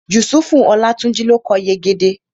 Yusufu Olátúnjí ló kọ Yegede